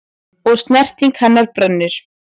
Og snerting hennar brennir.